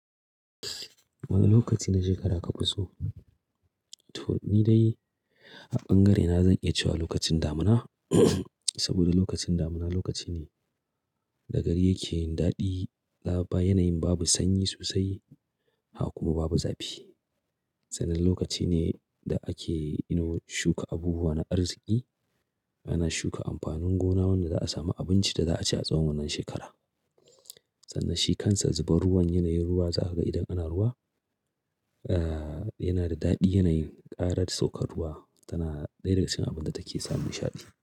Wane lokaci na shekara kuka so? To ni dai a bangare na zan iya cewa lokacin damuna saboda lokacin damuna lokaci ne da gari yake daɗi, laɓɓa yanayin babu sanyi sosai, haka kuma babu zafi. Sannan lokaci ne da ake, you know, shuka abubuwa na arziki, ana shuka amfanin gona wanda za a sami abincin da za a ci a tsawon wannan shekara. Sannan shi kansa zubar ruwan yanayin ruwa za ka ga idan ana ruwa, eh, yana da daɗi yanayin ƙara saukar ruwa tana ɗaya daga cikin abinda take sa mun sha'adi.